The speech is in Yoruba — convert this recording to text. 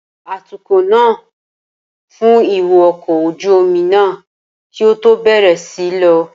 Atukọ̀ náà fun ìwo ọkọ̀ ojú omi náà kí ó tó bẹ̀rẹ̀ sí í lọ.